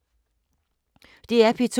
DR P2